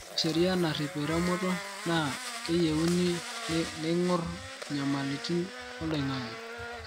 ore sheria narip eremoto naa keyieuni neingur nyamalitin oloingangi